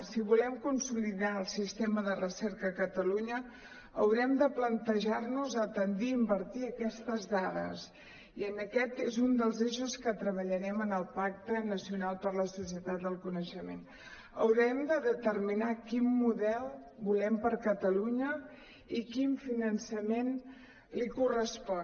si volem consolidar el sistema de recerca a catalunya haurem de plantejar·nos de tendir a invertir aquestes dades i aquest és un dels eixos que treballarem en el pac·te nacional per a la societat del coneixement haurem de determinar quin model volem per a catalunya i quin finançament li correspon